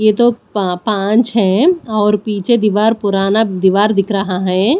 ये तो पा पांच है और पीछे दीवार पुराना दीवार दिख रहा है।